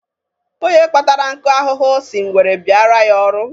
Onye kpatara nkụ ahụhụ si ngwere bịaara ya ọrụ.